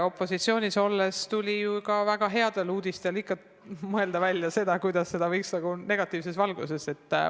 Opositsioonis olles tuli ju ka väga heade uudiste korral ikka välja mõelda, kuidas võiks seda negatiivses valguses näidata.